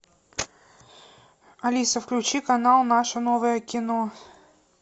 алиса включи канал наше новое кино